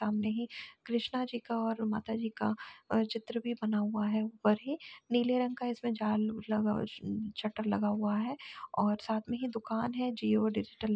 सामने ही कृष्णा जी का और माता जी का वह चित्र भी बना हुआ है ऊपर ही नीले रंग का इसमें जाल लगा शटर लगा हुआ है और साथ ही दुकान है जिओ डिजिटल --